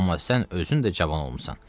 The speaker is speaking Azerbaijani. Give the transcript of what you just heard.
Amma sən özün də cavan olmusan.